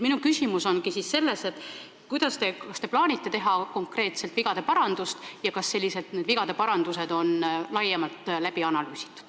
Minu küsimus ongi selles, kas te plaanite konkreetselt vigade parandust teha ja kui jah, siis kas seda vigade parandust on ka laiemalt analüüsitud.